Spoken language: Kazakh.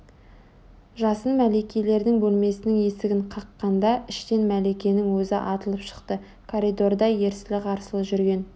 жасын мәликелердің бөлмесінің есігін қаққанда іштен мәликенің өзі атылып шықты коридорда ерсілі-қарсылы жүрген